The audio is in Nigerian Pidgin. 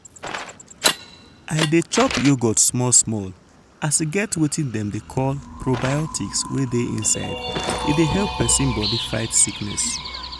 i dey chop yogurt small small as e get wetin dem dey call probiotics wey dey inside e dey help persin body fight sickness.